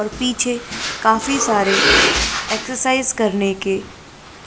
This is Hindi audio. और पीछे काफी सार एक्सरसाइज करने क